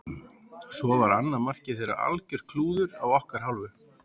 Svo var annað markið þeirra algjört klúður af okkar hálfu.